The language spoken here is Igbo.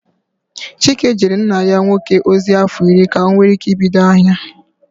Chike jeere nna ya nwoke ozi afọ irị ka o nwee ike ibido ahia.